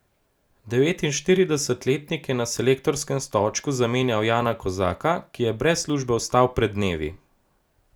Devetinštiridesetletnik je na selektorskem stolčku zamenjal Jana Kozaka, ki je brez službe ostal pred dnevi.